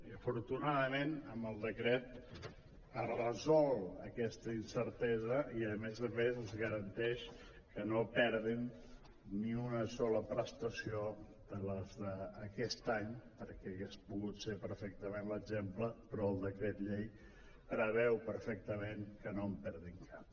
i afortunadament amb el decret es resol aquesta incertesa i a més a més es garanteix que no perdin ni una sola prestació de les d’aquest any perquè hauria pogut ser perfectament l’exemple però el decret llei preveu perfectament que no en perdin cap